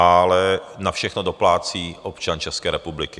Ale na všechno doplácí občan České republiky.